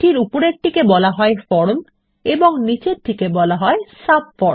উপরেরটিকে বলা হয় ফর্ম এবং নিচেরটিকে বলা হয় সাবফর্ম